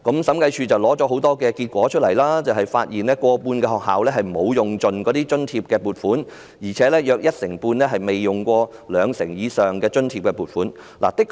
審計署的審查顯示，過半數學校沒有盡用津貼撥款，約一成半更未動用兩成以上的津貼撥款。